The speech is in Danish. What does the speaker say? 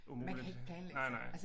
Umuligt nej nej